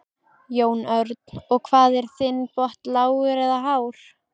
Jón Örn: Og hvað er þinn botn lágur eða hár?